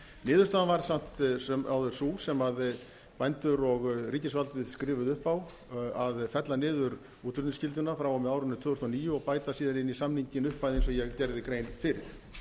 niðurstaðan varð samt sem áður sú sem bændur og ríkisvaldið skrifuðu upp á að fella niður útflutningsskylduna frá og með árinu tvö þúsund og níu og bæta síðan inn í samninginn upphæð eins og ég gerði grein fyrir